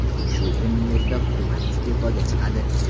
Shu kunning o‘zida hukumat iste’foga chiqadi.